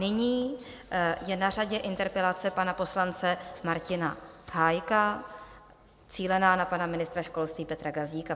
Nyní je na řadě interpelace pana poslance Martina Hájka cílená na pana ministra školství Petra Gazdíka.